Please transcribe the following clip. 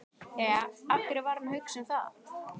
Jæja, af hverju var hann að hugsa um það?